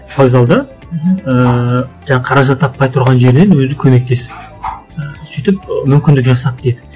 ііі жаңа қаражат таппай тұрған жерінен өзі көмектесіп і сөйтіп мүмкіндік жасап дейді